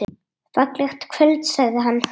Fallegt kvöld sagði hann.